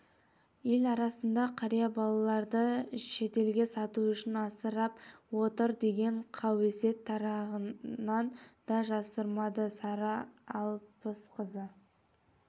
ел арасында қария балаларды шетелге сату үшін асырап отыр деген қауесет тарағанын да жасырмады сара алпысқызы